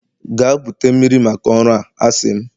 Gaa bute mmiri maka ọrụ a, a sị m!